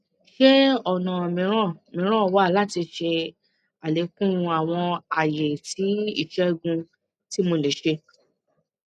ṣe ọna miiran miiran wa lati ṣe alekun awọn aye ti isẹgun ti mo le ṣe